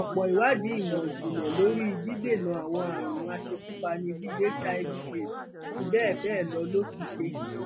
ọpọ ìwádìí ìmọ ìjìnlẹ lórí dídènà àwọn àrùn aṣekúpani bíi hiv aids àti bẹẹ bẹẹ lọ ló ti ṣe